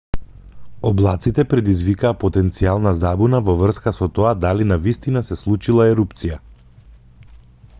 облаците предизвикаа потенцијална забуна во врска со тоа дали навистина се случила ерупција